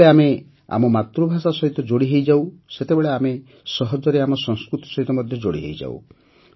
ଯେତେବେଳେ ଆମେ ଆମ ମାତୃଭାଷା ସହିତ ଯୋଡ଼ିହେଉ ସେତେବେଳେ ଆମେ ସହଜରେ ଆମ ସଂସ୍କୃତି ସହିତ ମଧ୍ୟ ଯୋଡ଼ି ହୋଇଯାଉ